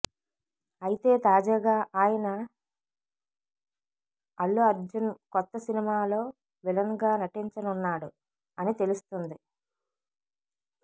అయితే తాజగా అయన అల్లు అర్జున్ కొత్త సినిమాలో విలన్ గా నటించనున్నాడు అని తెలుస్తుంది